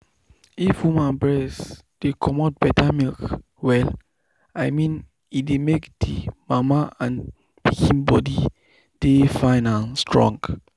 if woman breast dey comot better milk well i mean e dey make the mama and pikin body dey fine and strong.